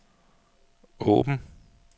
åben